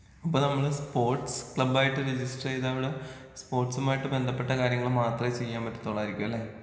അപ്പോ നമ്മള് സ്പോർട്സ് ക്ലബ്ബായിട്ട് രജിസ്റ്റർ ചെയ്ത അവിടെ സ്പോർട്സുമായിട്ട് ബന്ധപ്പെട്ട കാര്യങ്ങൾ മാത്രേ ചെയ്യാൻ പറ്റത്തൊള്ളായിരിക്കുംലെ?